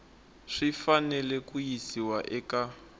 swi fanele ku yisiwa eka